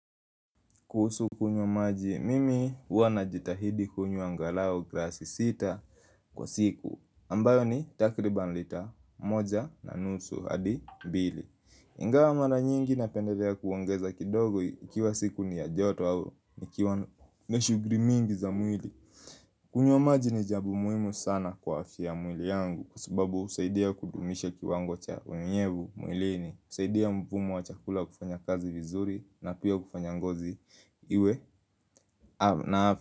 Kuhusu kunywa maji, mimi huwa najitahidi kunywa angalau glasi sita kwa siku ambayo ni takriban lita moja na nusu hadi mbili ingawa mara nyingi napendelea kuongeza kidogo ikiwa siku ni ya joto au nikiwa na shughuli mingi za mwili kunywa maji ni jambo muhimu sana kwa afya ya mwili yangu kwa sababu husaidia kudumisha kiwango cha unyevu mwilini husaidia mpumu wa chakula kufanya kazi vizuri na pia kufanya ngozi iwe na.